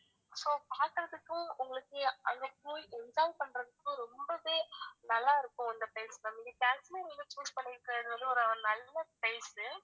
so பாக்கறதுக்கும் உங்களுக்கு அங்க போய் enjoy பண்றத்துக்கும் ரொம்பவே நல்லாருக்கும் அந்த place ma'am நீங்க காஷ்மீர் choose பண்ணிருக்கறது வந்து ஒரு நல்ல place உ